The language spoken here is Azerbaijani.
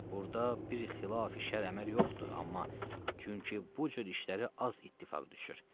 Burda bir xilafi şərə əməl yoxdur, amma çünki bu cür işlərə az ittifaq düşür.